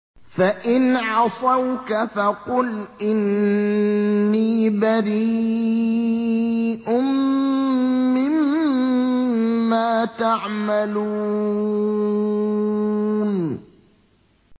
فَإِنْ عَصَوْكَ فَقُلْ إِنِّي بَرِيءٌ مِّمَّا تَعْمَلُونَ